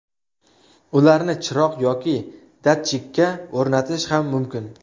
Ularni chiroq yoki datchikka o‘rnatish ham mumkin.